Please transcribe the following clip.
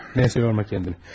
Nəysə, yorma özünü.